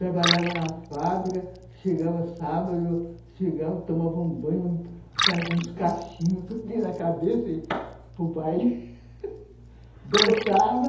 Trabalhava na fábrica, chegava sábado, chegava, tomava um banho, fazia uns cachinhos que eu tinha na cabeça, e o pai dançava.